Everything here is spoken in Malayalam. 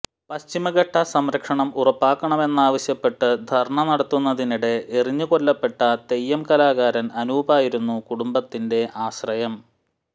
പശ്ചിമഘട്ടംസംരക്ഷണം ഉറപ്പാക്കണമെന്നാവശ്യപ്പെട്ട് ധര്ണ്ണ നടത്തുന്നതിനിടെ എറിഞ്ഞുകൊല്ലപ്പെട്ട തെയ്യം കലാകാരന് അനൂപായിരുന്നു കുടുംബത്തിന്റെ ആശ്രയം